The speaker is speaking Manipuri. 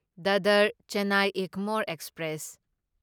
ꯗꯗꯔ ꯆꯦꯟꯅꯥꯢ ꯏꯒꯃꯣꯔ ꯑꯦꯛꯁꯄ꯭ꯔꯦꯁ